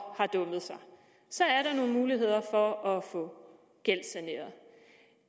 har dummet sig er der nogle muligheder for at få gældssanering